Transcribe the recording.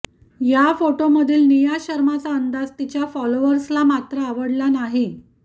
या फोटोंमधील निया शर्माचा अंदाज तिच्या फॉलोअर्सला मात्र आवडला नाही